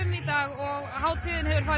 í dag og hátíðin hefur farið